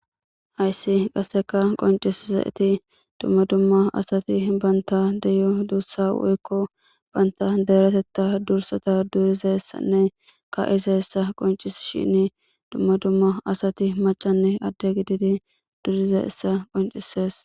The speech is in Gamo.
Hayssi qasseka qonciszaeti dumma dumma asati banta deyo duussa woyikko banta deeretetta dursata durizayissanne ka7isa qoncishshin dumma dumma asati macanne adde gididi durizaissa qoncisees.